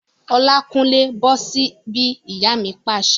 Olákúnlé, bọ́ sí bí! Ìyá mi pàṣẹ